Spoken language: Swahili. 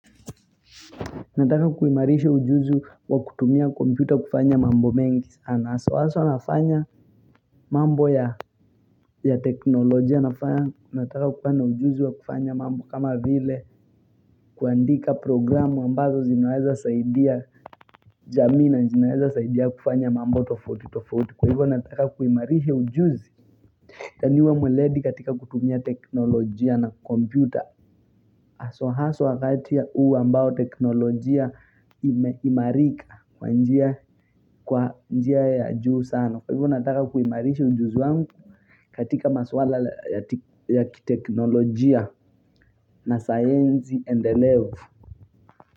Nataka kuimarisha ujuzi wa kutumia kompyuta kufanya mambo mengi sana. Aso aso nafanya mambo ya teknolojia. Nataka kuwa na ujuzi wa kufanya mambo kama vile kuandika programu ambazo zinaweza saidia jamii na zinaweza saidia kufanya mambo tofoti tofoti. Kwa hivyo nataka kuimarisha ujuzi. Taniwa mweledi katika kutumia teknolojia na kompyuta. Haswa haswa wakati ya uu ambao teknolojia imeimarika kwa njia ya juu sano. Kwa hivyo nataka kuimarishi ujuzi wangu katika maswala ya kiteknolojia na science and the level.